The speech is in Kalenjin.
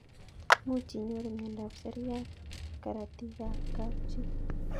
Much inyorune miondop seriat karatik ab kapchii